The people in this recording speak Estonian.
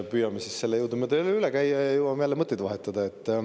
Püüame selle siis jõudumööda jälle üle käia ja jõuame taas mõtteid vahetada.